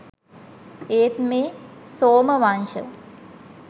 ඒත් මේ සෝමවංශ